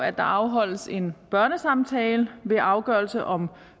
at der afholdes en børnesamtale ved afgørelse om